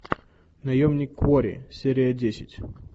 наемник куорри серия десять